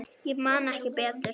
Ég man ekki betur.